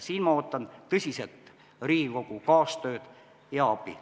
Siin ma ootan tõsiselt Riigikogu kaastööd ja abi.